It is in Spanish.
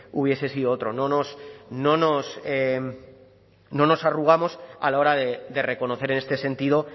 hubiese sido otro no nos arrugamos a la hora de reconocer en este sentido